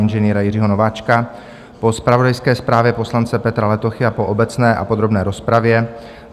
Ing. Jiřího Nováčka, po zpravodajské zprávě poslance Petra Letochy a po obecné a podrobné rozpravě